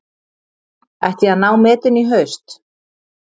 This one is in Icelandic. Ætti að ná metinu í haust